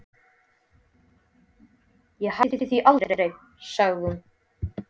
Ég hætti því aldrei, sagði hún.